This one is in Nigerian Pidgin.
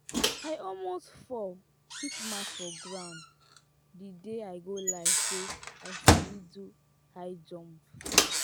i almost fall hit mouth for ground the day i go lie say i sabi do high jump